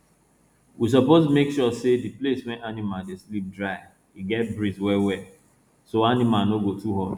we suppose make sure say di place wey animal dey sleep dry e get breeze well well so animal no go too hot